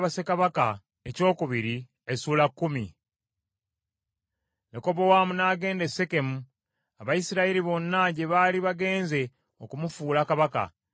Lekobowaamu n’agenda e Sekemu, Abayisirayiri bonna gye baali bagenze okumufuula kabaka.